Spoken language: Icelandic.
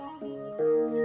og